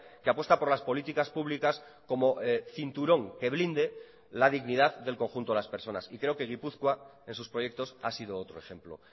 que apuesta por las políticas públicas como cinturón que blinde la dignidad del conjunto de las personas y creo que gipuzkoa en sus proyectos ha sido otro ejemplo